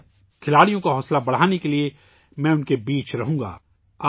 اس دن کھلاڑیوں کی حوصلہ افزائی کے لئے ، میں ان کے درمیان رہوں گا